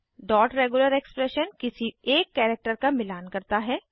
dot regular expression किसी एक character का मिलान करता है